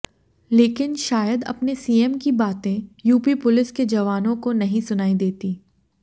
लेकिन शायद अपने सीएम की बातें यूपी पुलिस के जवानों को नहीं सुनाई देती